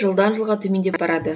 жылдан жылға төмендеп барады